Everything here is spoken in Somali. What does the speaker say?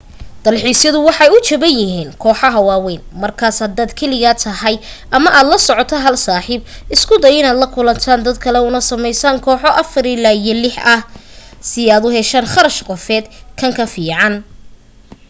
dalxiisyadu waxay u jaban yihiin kooxaha waawayn markaas haddaad keligaa tahay ama aad la soco hal saaxiib isku day inaad la kulantaan dad kale una samaysaan kooxo afar ilaa lix ah si aad u heshaan kharash qofeed kan ka fiican